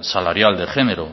salarial de género